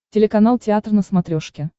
телеканал театр на смотрешке